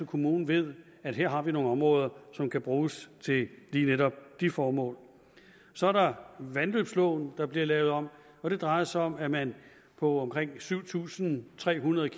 kommunen ved at her har vi nogle områder som kan bruges til lige netop de formål så er der vandløbsloven der bliver lavet om og det drejer sig om at man på omkring syv tusind tre hundrede